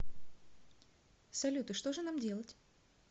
салют и что же нам делать